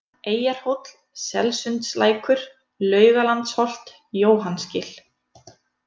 Eyjarhóll, Selsundslækur, Laugalandsholt, Jóhannsgil